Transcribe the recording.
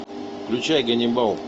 включай ганнибал